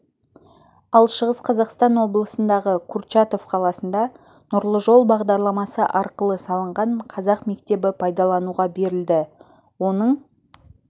ал шығыс қазақстан облысындағы курчатов қаласында нұрлы жол бағдарламасы арқылы салынған қазақ мектебі пайдалануға берілді оның